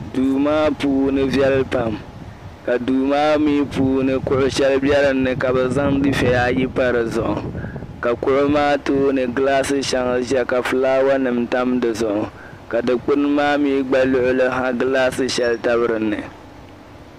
Duu maa puuni viɛli pam ka duu maa mi puuni kuɣ' shɛli be dinni ka bɛ zaŋ dufiɛya ayi pa di duɣu ka kuɣu maa tooni gilaasi shɛŋa ʒia ka fulaawanima tam di zuɣu ka dikpini maa mi gba luɣili ha gilaasi shɛli tabi dinni.